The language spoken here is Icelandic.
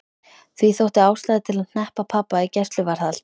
Því þótti ástæða til að hneppa pabba í gæsluvarðhald.